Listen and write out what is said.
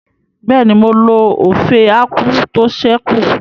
Bẹ́ẹ̀ni, mo lo ófé ákwú tó ṣẹ́ kù